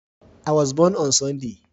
An haife ni ranar Lahadi